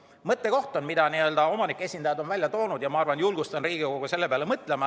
On üks mõttekoht, mille omanike esindajad on välja toonud, ja ma julgustan ka Riigikogu selle peale mõtlema.